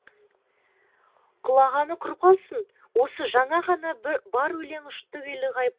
құлағаны құрып қалсын осы жаңа ғана бар өлең ұшты күйлі ғайып болыпты